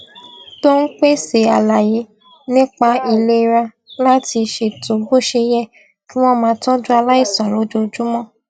tó ń pèsè àlàyé nípa ìlera láti ṣètò bó ṣe yẹ kí wón máa tójú aláìsàn lójoojúmó